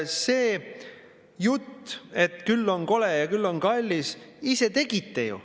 " See jutt, et küll on kole ja küll on kallis – ise tegite ju.